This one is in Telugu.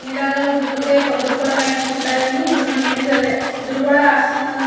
అన్నిరకలు దొరుకుతాయి పద్దులు కూడా రాయించుకుంటారని ఇప్పయిదు మన ఇమేజ్ అదే పొద్దులు కూడా రాస్నారు.